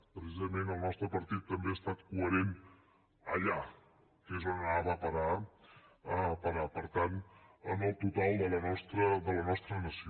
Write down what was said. precisament el nostre partit també ha estat coherent allà que és on anava a parar per tant en el total de la nostra nació